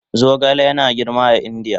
Zogale yana girma a Indiya